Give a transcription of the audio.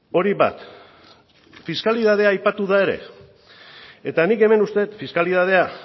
hori bat fiskalitatea aipatu da ere eta nik hemen uste dut fiskalitatea